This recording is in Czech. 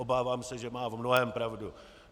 Obávám se, že má v mnohém pravdu.